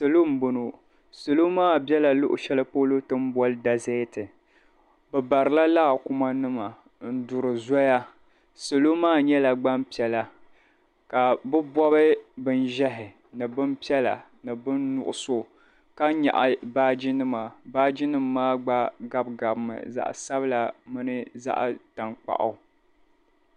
Salo m-boŋo salo maa bela luɣushɛli polo ti ni bɔli dazɛɛti bɛ barila laakumanima n-duri zɔya salo maa nyɛla gbampiɛla ka bɛ bɔbi bin'ʒɛhi ni bin'piɛla ni bin'nuɣuso ka nyaɣi baajinima baajinim' maa gba gabi gabimi zaɣ'sabila mini zaɣ'tankpaɣu.